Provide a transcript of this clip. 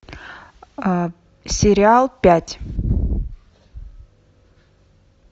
сериал пять